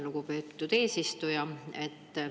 Lugupeetud eesistuja!